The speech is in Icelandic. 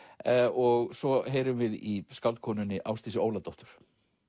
og svo heyrum við í skáldkonunni Ásdísi Óladóttur